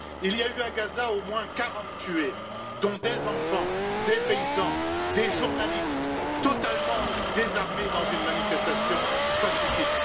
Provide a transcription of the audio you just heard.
Il y a eu à Gaza au moins 40 tués, dont des enfants, des paysans et des journalistes totalement désarmés dans une manifestation pacifique.